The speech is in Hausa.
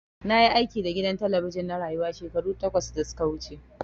Na yi aiki da gidan talabijin na Rayuwa shekaru takwas da su ka wuce.